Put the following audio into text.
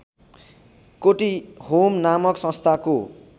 कोटीहोम नामक संस्थाको